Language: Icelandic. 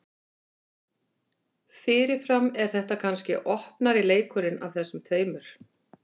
Fyrirfram er þetta kannski opnari leikurinn af þessum tveimur.